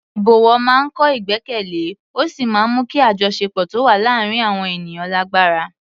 Ìbọ̀wọ̀ máa ń kọ́ ìgbẹ́kẹ̀lé ó sì máa ń mú kí àjọṣepọ̀ tó wà láàárín àwọn ènìyàn lágbára.